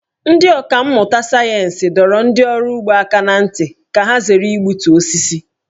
Ndị ọkà mmụta sayensị dọrọ ndị ọrụ ugbo aka ná ntị ka ha zere igbutu osisi.